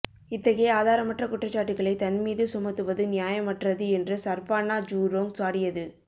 இத்தகைய ஆதாரமற்ற குற்றச்சாட்டுகளை தன் மீது சுமத்துவது நியாயமற்றது என்று சர்பானா ஜூரோங் சாடியது